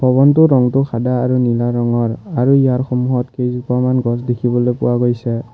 ভৱনটোৰ ৰংটো সাদা আৰু নীলা ৰঙৰ আৰু ইয়াৰ সন্মুখত কেইজোপামান গছ দেখিবলৈ পোৱা গৈছে।